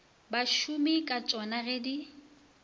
basomi ka tsona ge di